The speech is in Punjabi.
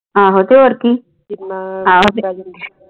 ਆਹੋ ਤੇ ਹੋਰ ਕੀ